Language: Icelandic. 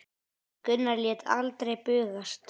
Gunnar lét aldrei bugast.